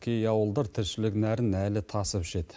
кей ауылдар тіршілік нәрін әлі тасып ішеді